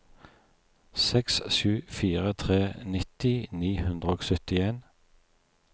seks sju fire tre nitti ni hundre og syttien